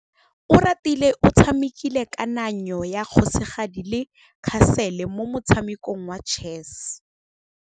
Oratile o tshamekile kananyô ya kgosigadi le khasêlê mo motshamekong wa chess.